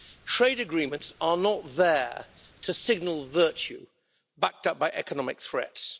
Trade agreements are not there to signal virtue backed up by economic threats.